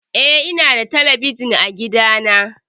Eh, ina da talabijin a gida na.